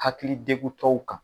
Hakili tɛ u dɔw kan.